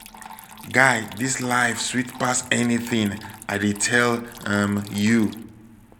guy dis life sweet pass anything l dey tell um you